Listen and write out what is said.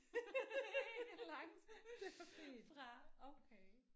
Ikke langt fra okay